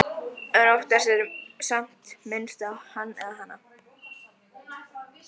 En oftast er samt minnst á Hann eða Hana.